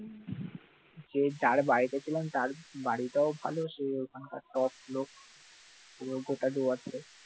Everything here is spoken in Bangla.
যে দাঁড় বায় বলছিলাম তার বাড়িটাও ভালো সে এখানকার top লোক, পুরো গোটা সুর্যাস্তের